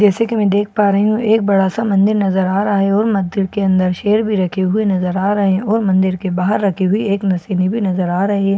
जैसे की मैं देख पा रही हूं एक बड़ा सा मंदिर नज़र आ रहा है और मंदिर के अन्दर शेर भी रखे हुए नजर आ रहे है और मंदिर के बाहर रखी है आ रही है ।